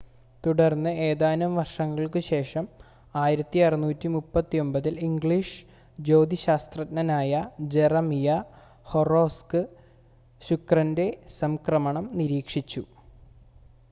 തുടർന്ന് ഏതാനും വർഷങ്ങൾക്കുശേഷം 1639-ൽ ഇംഗ്ലീഷ് ജ്യോതിശാസ്ത്രജ്ഞനായ ജെറമിയ ഹൊറോക്സ് ശുക്രൻ്റെ സംക്രമണം നിരീക്ഷിച്ചു